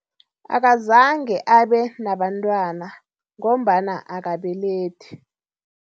Akazange abe nabantwana ngombana akabelethi.